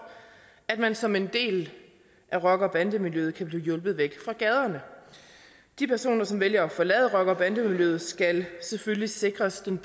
at man som en del af rocker og bandemiljøet kan blive hjulpet væk fra gaderne de personer som vælger at forlade rocker og bandemiljøet skal selvfølgelig sikres den